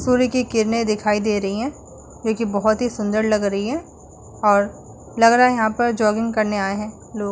सूर्य कि किरणे दिखाई दे रही हैं जो कि बहोत सुन्दर लग रही हैं और लग रहा है यहाँ पर जॉगिंग करने आये हैं लोग --